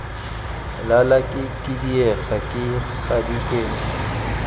lala ke khidiega ke gadikega